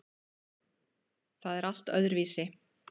Það er allt öðruvísi.